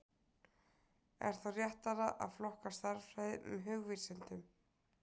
Er þá réttara að flokka stærðfræði með hugvísindum?